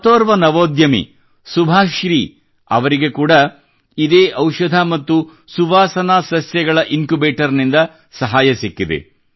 ಮತ್ತೋರ್ವ ನವೋದ್ಯಮಿ ಸುಭಾಶ್ರೀ ಅವರಿಗೆ ಕೂಡ ಇದೇ ಔಷಧ ಮತ್ತು ಸುಗಂಧ ಸಸ್ಯಗಳ ಇನ್ಕ್ಯುಬೇಟರ್ ನಿಂದ ಸಹಾಯ ಸಿಕ್ಕಿದೆ